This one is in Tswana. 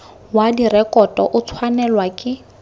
wa direkoto o tshwanelwa ke